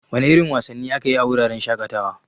Wana irin wasanni ake yi a wuraren shaƙatawa?